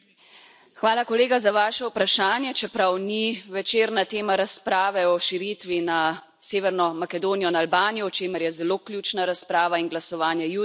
Hvala kolega za vaše vprašanje, čeprav ni večerna tema razprave o širitvi na Severno Makedonijo in Albanijo, o čemer je zelo ključna razprava in glasovanje jutri.